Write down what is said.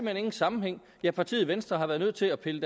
hen ingen sammenhæng ja partiet venstre har været nødt til at pille